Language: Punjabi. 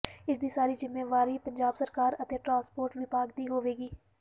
ਇਸ ਦੀ ਸਾਰੀ ਜਿੰਮ੍ਹੇਵਾਰੀ ਪੰਜਾਬ ਸਰਕਾਰ ਅਤੇ ਟਰਾਂਸਪੋਰਟ ਵਿਭਾਗ ਦੀ ਹੋਵੇਗੀ